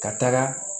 Ka taga